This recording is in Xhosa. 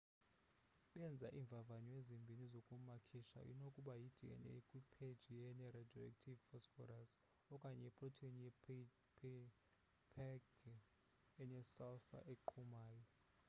benza iimvavanyo ezimbini zokumakisha nokuba yi-dna kwipheji ene-radioactive phosphorus okanye iprotheni ye-phage enesalfure eqhumayo